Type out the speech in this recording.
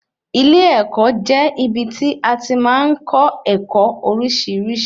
Ilé-ẹ̀kọ́ jẹ́ ibí tí a tí màá n kọ́ ẹ̀kọ́ oríṣiríṣi